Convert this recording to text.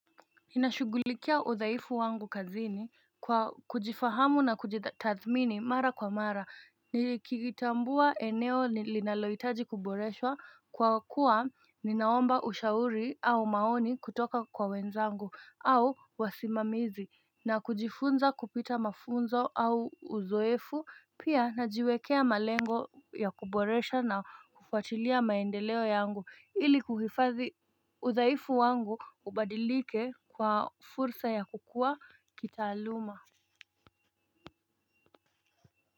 Ninashughulikia usafi wangu kazini kwa kujifahamu na kujitha tathmini mara kwa mara ni kikitambua eneo linalohitaji kuboreswa kwa kuwa ninaomba ushauri au maoni kutoka kwa wenzangu au wasimamizi na kujifunza kupita mafunzo au uzoefu pia najiwekea malengo ya kuboresha na kufuatilia maendeleo yangu ili kuhifadhi udhaifu wangu ubadilike kwa fursa ya kukua kitaaluma.